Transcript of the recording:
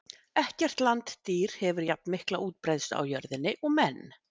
ekkert landdýr hefur jafnmikla útbreiðslu á jörðinni og menn